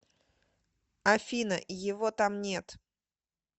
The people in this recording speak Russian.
афина его там нет